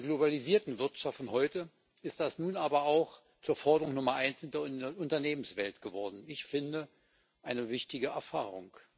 In der globalisierten Wirtschaft von heute ist das nun aber auch zur Forderung Nummer eins in der Unternehmenswelt geworden ich finde, eine wichtige Erfahrung.